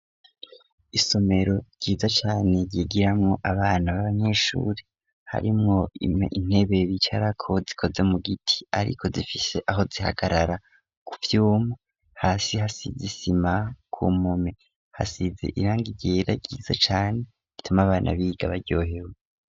Isomero ryiza cane ryigiramo abana b'abanyeshure harimwo intebe bicarako zikoze mu giti ,ariko zifise aho zihagarara ku vyuma hasi hasize isima ku mpome ,hasize irangi ryera ryiza cane rituma abana biga baryohewe.